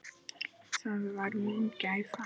Það var mín gæfa.